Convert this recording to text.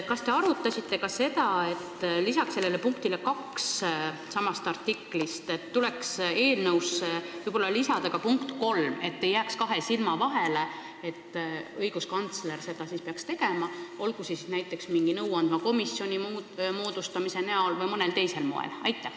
Kas te arutasite ka seda, et lisaks sama artikli punktile 2 tuleks eelnõus võib-olla mainida ka punkti 3, et ei jääks kahe silma vahele, et õiguskantsler peaks seda tagama, kas siis näiteks mingi nõuandva komisjoni moodustamise teel või mõnel teisel moel?